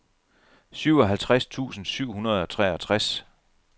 syvoghalvtreds tusind syv hundrede og treogtres